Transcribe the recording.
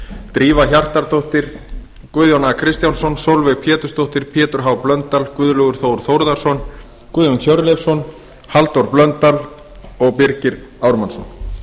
drífa hjartardóttir guðjón a kristjánsson sólveig pétursdóttir pétur h blöndal guðlaugur þór þórðarson guðjón hjörleifsson halldór blöndal og birgir ármannsson